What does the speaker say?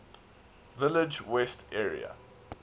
village west area